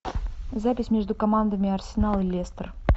запись между командами арсенал лестер